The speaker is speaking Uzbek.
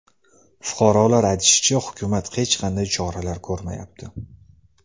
Fuqarolar aytishicha, hukumat hech qanday choralar ko‘rmayapti.